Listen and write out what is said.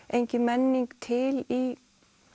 engin menning til í